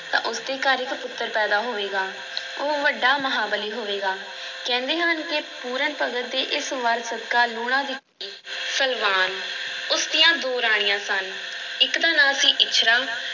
ਤਾਂ ਉਸਦੇ ਘਰ ਇੱਕ ਪੁੱਤਰ ਪੈਦਾ ਹੋਵੇਗਾ, ਉਹ ਵੱਡਾ ਮਹਾਂਬਲੀ ਹੋਵੇਗਾ, ਕਹਿੰਦੇ ਹਨ ਕਿ ਪੂਰਨ ਭਗਤ ਦੇ ਇਸ ਵਰ ਸਦਕਾ ਲੂਣਾ ਦੀ ਸਲਵਾਨ ਉਸ ਦੀਆਂ ਦੋ ਰਾਣੀਆਂ ਸਨ, ਇੱਕ ਦਾ ਨਾਂ ਸੀ ਇੱਛਰਾਂ